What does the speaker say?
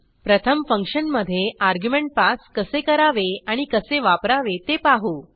प्रथम फंक्शनमधे argument pass कसे करावे आणि कसे वापरावे ते पाहू